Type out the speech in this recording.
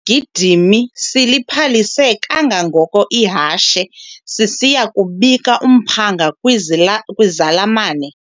Isigidimi siliphalise kangangoko ihashe sisiya kubika umphanga kwizalamane.